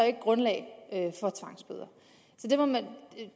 ikke grundlag for tvangsbøder